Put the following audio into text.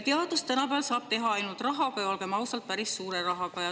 Teadust saab tänapäeval teha ainult rahaga, ja olgem ausad, päris suure rahaga.